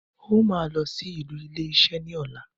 Ó máa lọ sí olú ilé isé ní ọ̀la